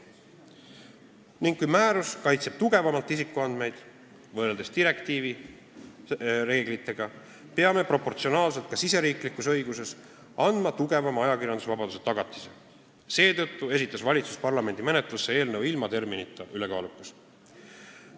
Ning kui määrus kaitseb isikuandmeid tugevamalt võrreldes direktiivi reeglitega peame proportsionaalselt ka riigisiseses õiguses ajakirjandusvabadusele tugevama tagatise andma, mistõttu esitas valitsus parlamendi menetlusse eelnõu ilma terminita "ülekaalukas".